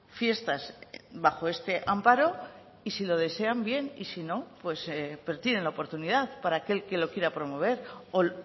fiestas bajo este amparo y si lo desean bien y si no tienen la oportunidad para aquel que lo quiera promover o